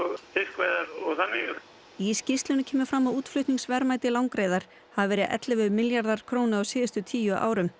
og fiskveiðar og þannig í skýrslunni kemur fram að útflutningsverðmæti langreyðar hafi verið ellefu milljarðar króna á síðustu tíu árum